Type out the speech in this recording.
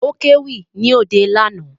Ó kéwì ní òde lánàá